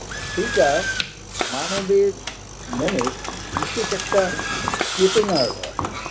সেইটা মানবের মনের বিশেষ একটা চেতনার রস